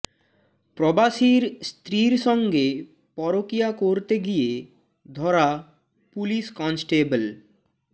প্রবাসীর স্ত্রীর সঙ্গে পরকীয়া করতে গিয়ে ধরা পুলিশ কনস্টেবল